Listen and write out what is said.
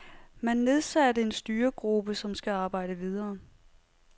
Man nedsatte en styregruppe, som skal arbejde videre.